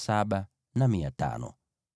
na wanadamu 16,000.